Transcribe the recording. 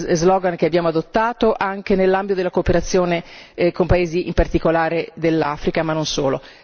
slogan che abbiamo adottato anche nell'ambito della cooperazione con paesi in particolare dell'Africa ma non solo.